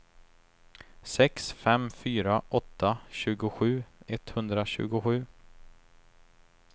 sex fem fyra åtta tjugosju etthundratjugosju